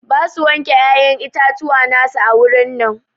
Ba su wanke ƴaƴan itatuwa na su a wurin nan.